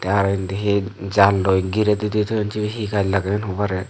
arw indi hi jalloi gire di di toyon sibe hi gaj lageyon hobare.